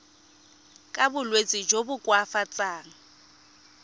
ka bolwetsi jo bo koafatsang